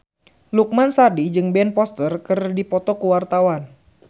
Lukman Sardi jeung Ben Foster keur dipoto ku wartawan